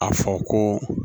A fɔ ko